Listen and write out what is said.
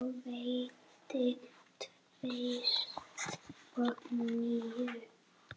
Og veiddi tvist og NÍU.